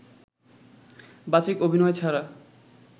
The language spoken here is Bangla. বাচিক অভিনয় ছাড়া